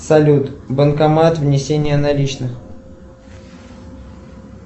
салют банкомат внесение наличных